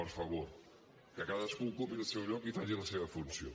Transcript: per favor que cadascú ocupi el seu lloc i faci la seva funció